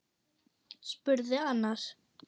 spurði annar.